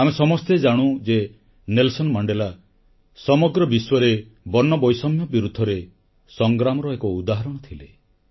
ଆମେ ସମସ୍ତେ ଜାଣୁ ଯେ ନେଲସନ୍ ମଣ୍ଡେଲା ସମଗ୍ର ବିଶ୍ୱରେ ବର୍ଣ୍ଣବୈଷମ୍ୟ ବିରୁଦ୍ଧରେ ସଂଗ୍ରାମର ଏକ ଉଦାହରଣ ଥିଲେ